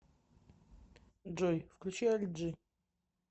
джой включи альт джи